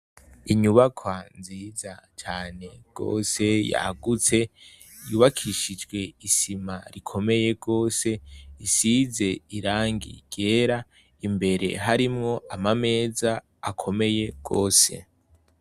Inyubaka nziza cane rwose yagutse yubakishijwe isima rikomeye rwose isize irangi gera imbere harimwo ama meza akomeye rwose.